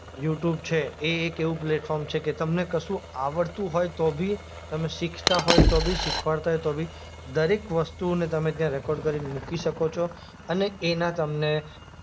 YouTube છે એ એક એવું પ્લેટફોર્મ છે કે તમને કશું આવડતું હોય તો બી તમે શીખતા હોય તો ભી શીખવાડતા હોય તો બી દરેક વસ્તુને તમે ત્યાં રેકોર્ડ કરીને મૂકી શકો છો અને એના તમને